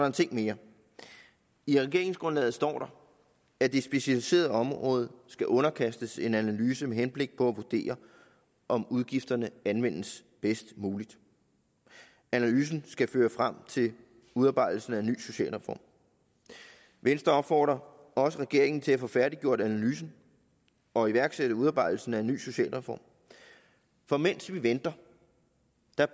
en ting mere i regeringsgrundlaget står der at det specialiserede område skal underkastes en analyse med henblik på at vurdere om udgifterne anvendes bedst muligt analysen skal føre frem til udarbejdelsen af en ny socialreform venstre opfordrer også regeringen til at få færdiggjort analysen og iværksætte udarbejdelsen af en ny socialreform for mens vi venter